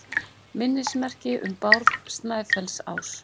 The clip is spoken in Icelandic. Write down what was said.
Minnismerki um Bárð Snæfellsás.